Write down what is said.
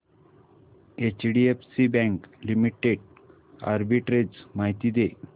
HDFC bank limited arbitrage माहिती दे